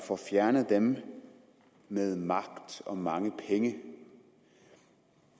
får fjernet dem med magt og mange penge